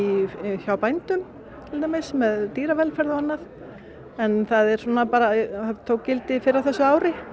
hjá bændum til dæmis með dýravelferð og annað það tók gildi fyrr á þessu ári